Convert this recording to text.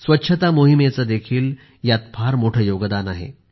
स्वच्छता मोहिमेचेही यात फार मोठे योगदान आहे